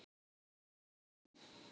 um vonum.